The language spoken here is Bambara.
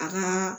A ma